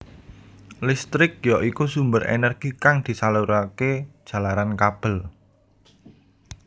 Listrik ya iku sumber energi kang disalurake jalaran kabel